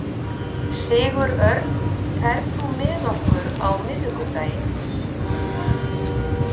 Sigurörn, ferð þú með okkur á miðvikudaginn?